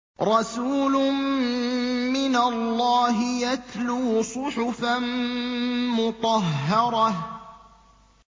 رَسُولٌ مِّنَ اللَّهِ يَتْلُو صُحُفًا مُّطَهَّرَةً